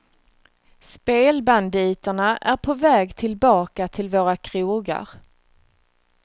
Spelbanditerna är på väg tillbaka till våra krogar.